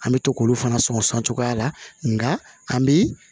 An bɛ to k'olu fana sonsan cogoya la nka an bi